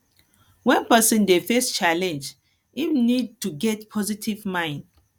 when person dey face challenge im need to get positive mind